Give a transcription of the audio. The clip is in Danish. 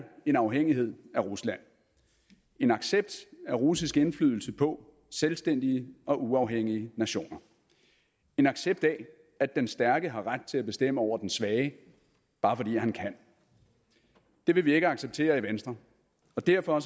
en afhængighed af rusland en accept af russisk indflydelse på selvstændige og uafhængige nationer en accept af at den stærke har ret til at bestemme over den svage bare fordi han kan det vil vi ikke acceptere i venstre og derfor